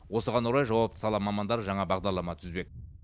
осыған орай жауапты сала мамандары жаңа бағдарлама түзбек